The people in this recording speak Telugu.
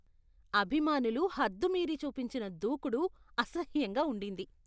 అభిమానులు హద్దుమీరి చూపించిన దూకుడు అసహ్యంగా ఉండింది.